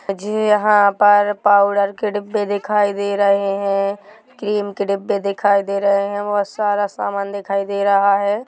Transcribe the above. मुझे यहाँ पर पाउडर के डब्बे दिखाई दे रहे है क्रीम के डब्बे दिखाई दे रहे है बोहोत सारा सामान दिखाई दे रहा--